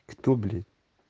кто блять